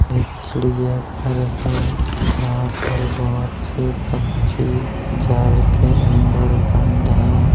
एक चिड़िया घर है जहाँ पर बहुत से पक्षी जाल के अंदर बंद है।